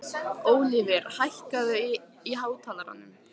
Ólíver, hækkaðu í hátalaranum.